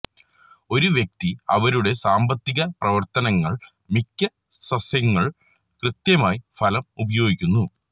ഒരു വ്യക്തി അവരുടെ സാമ്പത്തിക പ്രവർത്തനങ്ങൾ മിക്ക സസ്യങ്ങൾ കൃത്യമായി ഫലം ഉപയോഗിക്കുന്നു